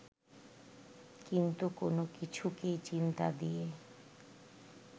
কিন্তু কোন কিছুকেই চিন্তা দিয়ে